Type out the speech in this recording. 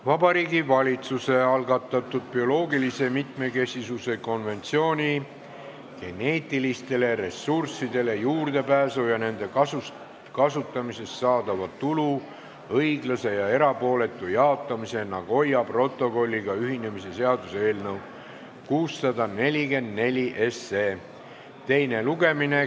Vabariigi Valitsuse algatatud bioloogilise mitmekesisuse konventsiooni geneetilistele ressurssidele juurdepääsu ja nende kasutamisest saadava tulu õiglase ja erapooletu jaotamise Nagoya protokolliga ühinemise seaduse eelnõu 644 teine lugemine.